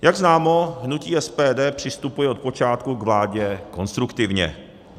Jak známo, hnutí SPD přistupuje od počátku k vládě konstruktivně.